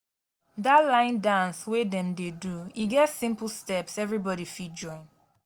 dat line dance wey dem dey do e get simple steps everybody fit join